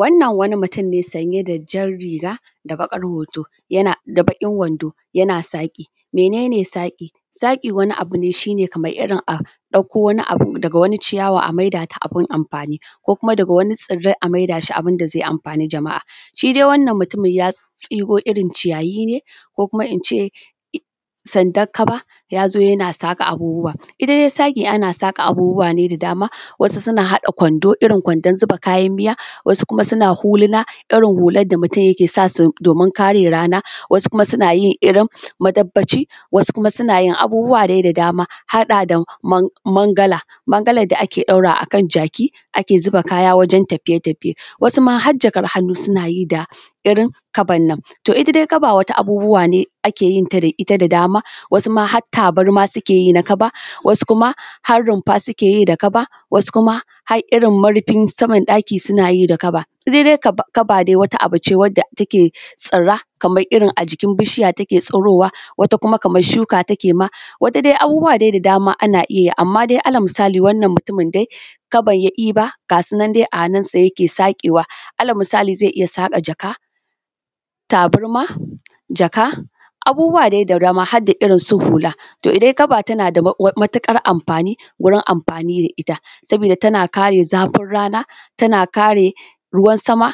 Wannan wani mutum ne sanye da jan riga da baƙin wanda yana saki. Mene ne saƙi wani abu ne shi kamar a ɗauko wani abu daga wani ciyawa a maida ta abun amfani ko kuma daga wani tsirrai a maida shi abun da zai amfani jama'a .shi dai Wannan mutumin ya shigo irin ciyayi ne ko in ce saddak kaba ya zo yana saƙa abubuwa. Shi dai saƙi ana saƙa abubuwa ne da dama kamar kwando irin kwandon zuba kayan miya wasu suna saƙa hulana irin huluna da mutum ke sa su domin kare rana. Wasu suna yin irin makanfaci, wasu suna iya hada mangala da akan ɗaura a kan jaki wajen daura kaya wajen tafiye-tafiye. Wasu ma har jakan hannu suna yi da irin kabban nan. Wato ita dai kaba dai wata abubuwa ne da ake yi da ita da dama wasu har tabarma suke yi wasu kuma har rumfa suke yi da kaba wasu kuma har irin murfin saman ɗaki suke yi. Ita dai kaba wata abu ce da take tsira kamar irin a jikin bishiya take tsurowa wata kuma kamar shuka take ma, abubuwa dai da dama ana iya yi. Misali wannan mutumin ma kabar ya ɗiba, ga sunan dai a hannunsa yake sake wa alal misali zai iya sake jaka, tabarma da jaka abubuwa dai da dama har da irin su hula. Ita dai kaba tana da matuƙar amfani wurin amfani da ita sabida tana kare zafin rana, taba kare ruwan sama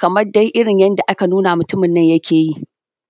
kamar dai irin yadda aka nuna mutumin na dai yake yi.